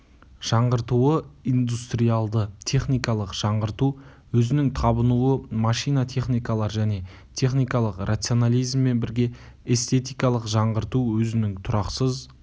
жаңғыртуы индустриалды-техникалық жаңғырту өзінің табынуы машина техникалар және техникалық рационализммен бірге эстетикалық жаңғырту өзінің тұрақсыз